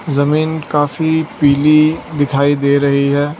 जमीन काफी पीली दिखाई दे रही है।